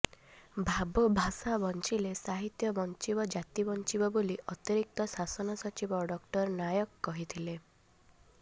ଭାବ ଭାଷା ବଂଚିଲେ ସାହିତ୍ୟ ବଂଚିବ ଜାତି ବଂଚିବ ବୋଲି ଅତିରିକ୍ତ ଶାସନ ସଚିବ ଡଃ ନାୟକ କହିଥିଲେ